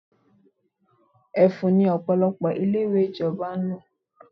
Ẹfun ni Ọ̀pọ̀lọpọ̀ ilé-ìwé ìjọba ń lò.